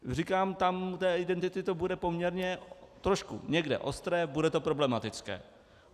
Říkám, u té identity to bude poměrně trošku někde ostré, bude to problematické.